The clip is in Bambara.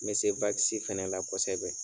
N bɛ se fɛnɛ la kosɛbɛ.